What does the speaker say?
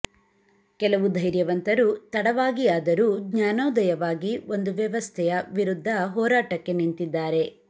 ಕೆಲವು ಧೈರ್ಯವಂತರು ತಡವಾಗಿಯಾದರೂ ಜ್ಞಾನೋದಯವಾಗಿ ಒಂದು ವ್ಯವಸ್ಥೆಯ ವಿರುದ್ಧ ಹೋರಾಟಕ್ಕೆ ನಿಂತಿದ್ದಾರೆ